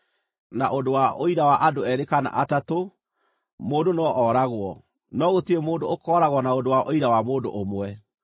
Na ũndũ wa ũira wa andũ eerĩ kana atatũ, mũndũ no oragwo, no gũtirĩ mũndũ ũkooragwo na ũndũ wa ũira wa mũndũ ũmwe.